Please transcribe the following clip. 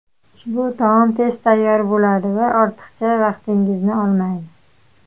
Ushbu taom tez tayyor bo‘ladi va ortiqcha vaqtingizni olmaydi.